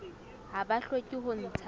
ha ba hloke ho ntsha